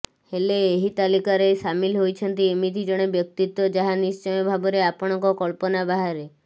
ହେଲେ ଏହି ତାଲିକାରେ ସାମିଲ୍ ହୋଇଛନ୍ତି ଏମିତି ଜଣେ ବ୍ୟକ୍ତିତ୍ବ ଯାହା ନିଶ୍ଚୟ ଭାବରେ ଆପଣଙ୍କ କଳ୍ପନା ବାହାରେ